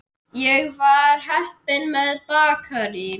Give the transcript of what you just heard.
Ég var heppin með bakarí.